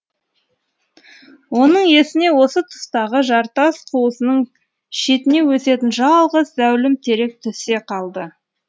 оның есіне осы тұстағы жартас қуысының шетіне өсетін жалғыз зәулім терек түсе қалды